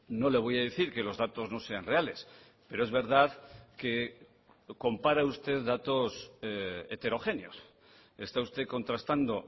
no le voy a decir que los datos no sean reales pero es verdad que compara usted datos heterogéneos está usted contrastando